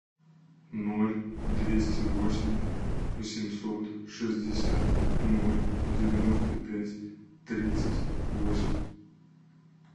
ноль двести восемь восемьсот шестьдесят ноль девяносто пять тридцать восемь